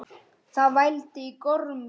Það vældi í gormum.